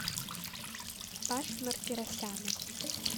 паши мартиросяна